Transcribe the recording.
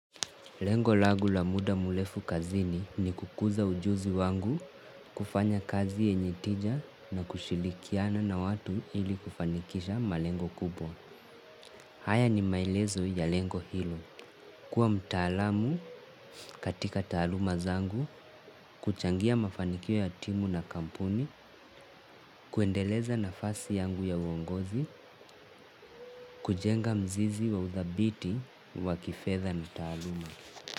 Lengo langu la muda mrefu kazini ni kukuza ujuzi wangu kufanya kazi yenye tija na kushirikiana na watu ili kufanikisha malengo kubwa. Haya ni maelezo ya lengo hilo. Kwa mtaalamu katika taaluma zangu, kuchangia mafanikio ya timu na kampuni, kuendeleza nafasi yangu ya uongozi, kujenga mzizi wa udhabiti wa kifedha na taaluma.